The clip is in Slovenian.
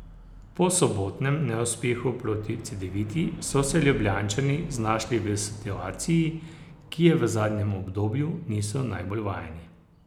Po sobotnem neuspehu proti Cedeviti so se Ljubljančani znašli v situaciji, ki je v zadnjem obdobju niso najbolj vajeni.